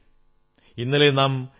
ആ നാളിൽ നമ്മുടെ രാജ്യം റിപ്പബ്ലിക്കായി